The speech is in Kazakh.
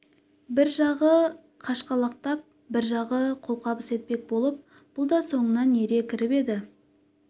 бір жағы қашқалақтап бір жағы қолқабыс етпек болып бұл да соңынан ере кіріп еді